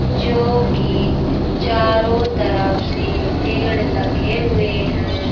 जो कि चारों तरफ से पेड़ लगे हुए हैं।